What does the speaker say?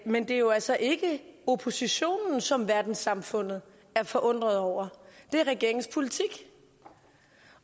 men det er jo altså ikke oppositionen som verdenssamfundet er forundret over det er regeringens politik